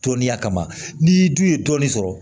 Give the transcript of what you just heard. Tɔndenya kama n'i dun ye dɔɔnin sɔrɔ